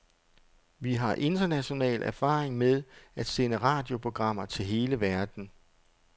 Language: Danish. Vi har international erfaring med at sende radioprogrammer til hele verden.